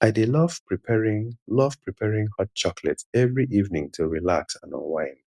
i dey love preparing love preparing hot chocolate every evening to relax and unwind